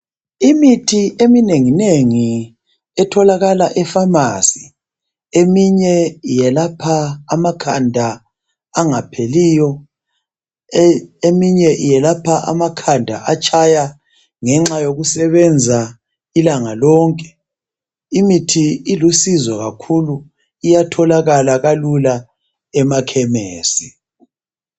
Imithi eminenginengi etholakala efamasi eminye yelapha amakhanda angapheliyo eminye yelapha amakhanda atshaya ngenxa yokusebenza ilanga lonke ,imithi ilusizo kakhulu iyatholakala kalula emakhemesi.